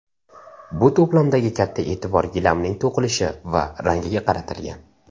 Bu to‘plamdagi katta e’tibor gilamning to‘qilishi va rangiga qaratilgan.